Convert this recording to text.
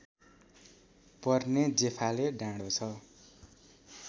पर्ने जेफाले डाँडो छ